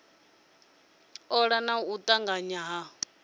ola na u tanganya ha